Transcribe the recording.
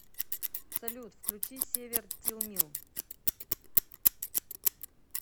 салют включи север тилмил